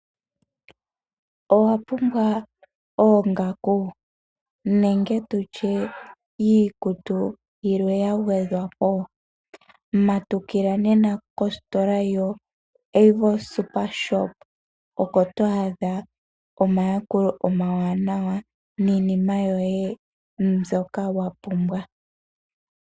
Owapumbwa oongaku nenge tutye iikutu yimwe yagwedhwapo, matukila nena kositola yoAvos, okoto adha omayakulo omawanawa niinima yoye mbyoka wapumbwa.